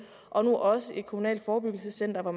og nu også et kommunalt forebyggelsescenter